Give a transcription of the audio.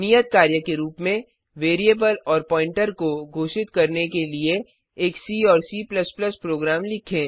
नियत कार्य के रूप में वेरिएबल और Pointerप्वॉइंटर को घोषित करने के लिए एक सी और C प्रोग्राम लिखें